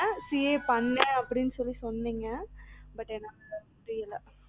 CA ண்ணு அப்படின்னு சொன்னிங்க but என்னால முடியல